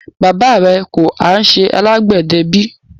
Baba rẹ kò há ṣẹ alágbedẹ bí?